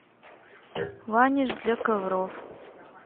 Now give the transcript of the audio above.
ваниш для ковров